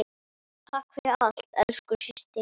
Takk fyrir allt, elsku systir.